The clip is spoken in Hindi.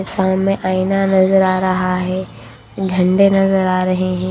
साममें आईना नजर आ रहा हैं झंडे नजर आ रहें हैं।